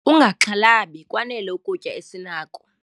Ungaxhalabi kwanele ukutya esinako.